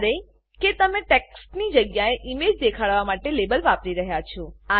જ્યારે કે તમે ટેક્સ્ટની જગ્યાએ ઈમેજ દેખાડવા માટે લેબલ વાપરી રહ્યા છો